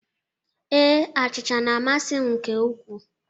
Ee, achịcha na-amasị m nke ukwuu.